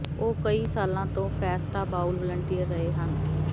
ਉਹ ਕਈ ਸਾਲਾਂ ਤੋਂ ਫੈਸਟਾ ਬਾਊਲ ਵਲੰਟੀਅਰ ਰਹੇ ਹਨ